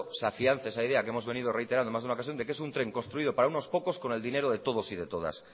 se afianza esa idea que hemos venido reiterando en más de una ocasión de que es un tren construido para unos pocos con el dinero de todos y de todas